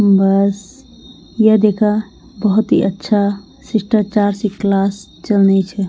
बस ये दिखा बहौत ही अच्छा शिष्टाचार सी क्लास चलनी च।